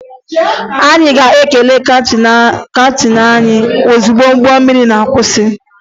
Anyị ga-ekele kaptịn anyị ozugbo ụgbọ mmiri ga-akwụsị